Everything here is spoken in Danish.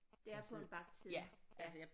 Det er på en bagt side ja